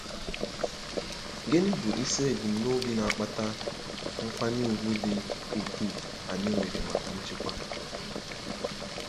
Gịnị bụ isi ebumnobi na-akpata nkwanye ùgwù dị ukwuu anyị nwere maka nchekwa?